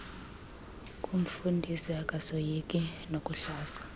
koomfundisi akasoyiki nokuhlaza